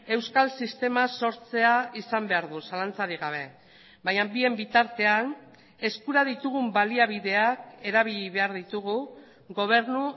euskal sistema sortzea izan behar du zalantzarik gabe baina bien bitartean eskura ditugun baliabideak erabili behar ditugu gobernu